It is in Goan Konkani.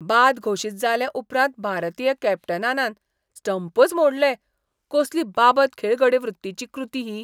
बाद घोशीत जाले उपरांत भारतीय कॅप्टनानान स्टंपच मोडले. कसली बाबत खेळगडेवृत्तीची कृती ही!